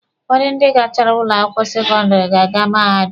Ụfọdụ ndị gachara ụlọ akwụkwọ sekọndịrị ga-aga mahadum.